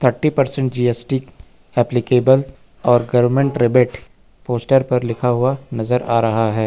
Thirty percent G S T applicable और garment rebate poster पर लिखा हुआ नजर आ रहा है।